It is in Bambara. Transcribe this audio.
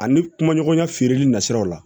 Ani kuma ɲɔgɔnya feereli nasiraw la